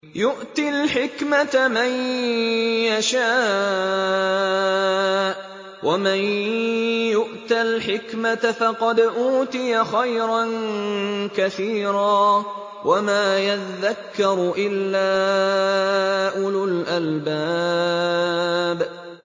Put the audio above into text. يُؤْتِي الْحِكْمَةَ مَن يَشَاءُ ۚ وَمَن يُؤْتَ الْحِكْمَةَ فَقَدْ أُوتِيَ خَيْرًا كَثِيرًا ۗ وَمَا يَذَّكَّرُ إِلَّا أُولُو الْأَلْبَابِ